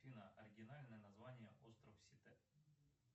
афина оригинальное название остров сите